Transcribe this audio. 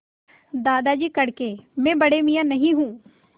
दादाजी कड़के मैं बड़े मियाँ नहीं हूँ